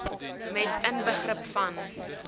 met inbegrip van